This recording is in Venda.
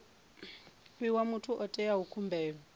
fhiwa muthu o itaho khumbelo